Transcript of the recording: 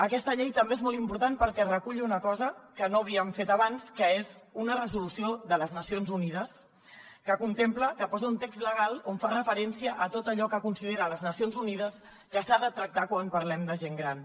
aquesta llei també és molt important perquè recull una cosa que no havíem fet abans que és una resolució de les nacions unides que posa un text legal on fa referència a tot allò que considera les nacions unides que s’ha de tractar quan parlem de gent gran